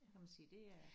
Kan man sige det er